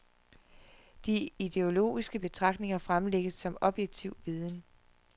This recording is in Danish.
De ideologiske betragtninger fremlægges som objektiv viden.